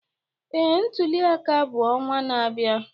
Ee, ntuli aka bụ ọnwa na-abịa